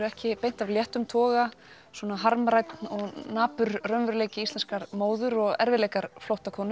ekki beint af léttum toga harmrænn og napur raunveruleiki íslenskrar móður og erfiðleikar